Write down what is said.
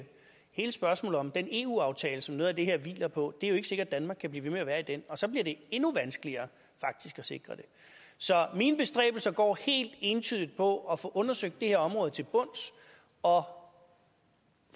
hele spørgsmålet om den eu aftale som noget af det her hviler på det er ikke sikkert danmark kan blive ved med at være i den og så bliver det endnu vanskeligere at sikre det så mine bestræbelser går helt entydigt på at få undersøgt det her område til bunds og